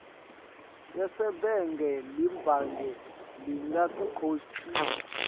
yasebhange libhange lingakukhokhisa